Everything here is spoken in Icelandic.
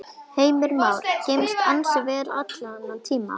Heimir Már: Geymst ansi vel allan þennan tíma?